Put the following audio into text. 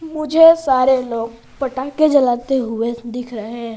मुझे सारे लोग पटाखे जलाते हुए दिख रहे हैं।